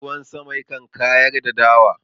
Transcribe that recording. Ruwan sama yakan kayar da dawa..